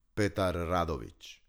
Petar Radović.